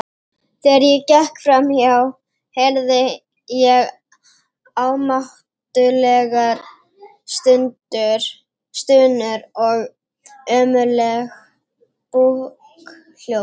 Þegar ég gekk fram hjá heyrði ég ámáttlegar stunur og ömurleg búkhljóð.